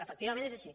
efectivament és així